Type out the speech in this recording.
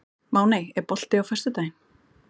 Máney, er bolti á föstudaginn?